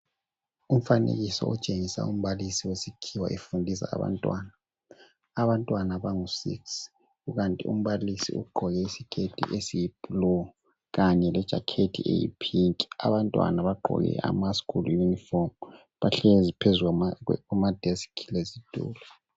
Umfanekiso otshengisa wombalisi wesikhiwa efundisa abantwana. Abantwana bangusix. Kukanti umbalisi ugqoke iskirt esiyiblue., kanye lejacket eyipink. Abantwana bagqoke amaschool uniform. Bahlezi phezu kwamadesk lezitulo.